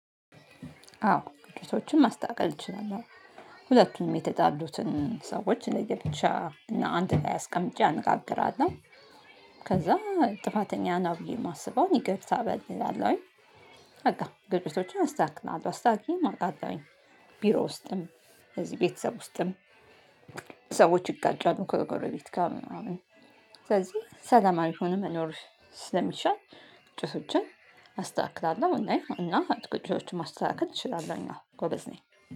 አዎ ግጫቷችን ማስተካከል እችላለሁ። ሁለቱንም የተጠሉትን ሰዎች ለየብቻ እና አንድ ላይ አስቀምጬ አነጋግራለሁ። ከዛን ጥፋተኛ ብዬ የማስበው ይቅርታ በል እላለው። በቃ ግጫቷችን አስተካክላለሁ አስተካክዬ አቀለውኝ። ቢሮ ውስጥ እዚህ ቤተሰብ ውስጥም። ሰዎች ይጋጫሉ ከጎረቤት ጋር ምናምን። ስለዚህ ሰላም አይሁንም መኖር ስለሚሻል ግጭቶችን አስተካክላለሁ። እና ግጭቶችን ማስተካከል እችላለሁ ጎበዝ ነኝ።